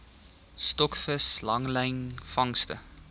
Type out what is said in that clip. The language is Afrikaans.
stokvis langlyn vangste